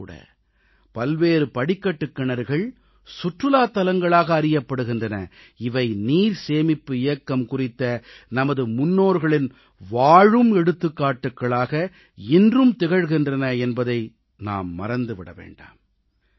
இன்றும் பல்வேறு படிக்கட்டுக் கிணறுகள் சுற்றுலாத் தலங்களாக அறியப்படுகின்றன இவை நீர்சேமிப்பு இயக்கம் குறித்த நமது முன்னோர்களின் வாழும் எடுத்துக்காட்டுகளாக இன்றும் திகழ்கின்றன என்பதை நாம் மறந்து விட வேண்டாம்